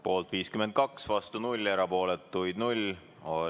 Poolt 52, vastu 0, erapooletuid 0.